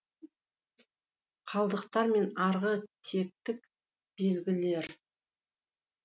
қалдықтар мен арғы тектік белгілер